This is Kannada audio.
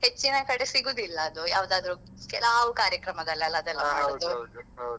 ಹೆಚ್ಚಿನ ಕಡೆ ಸಿಗುದಿಲ್ಲ ಅದು ಯಾವ್ದಾದ್ರು ಕೆಲಾವ್ ಕಾರ್ಯಕ್ರಮದಲ್ಲೆಲ್ಲ ಅದೆಲ್ಲ .